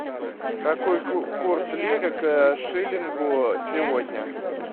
какой курс лиры к шиллингу сегодня